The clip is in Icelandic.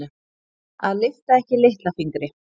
Að lyfta ekki litla fingri